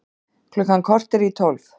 Klukkan korter í tólf